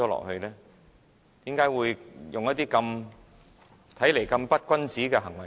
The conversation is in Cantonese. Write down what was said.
為何要採取這種看來極不君子的行為？